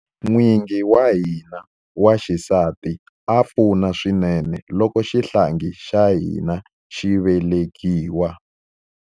N'wingi wa mina wa xisati a pfuna swinene loko xihlangi xa hina xi velekiwa.